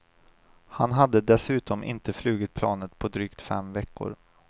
Han hade dessutom inte flugit planet på drygt fem veckor.